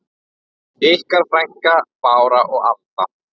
Ykkar frænkur Bára og Alda.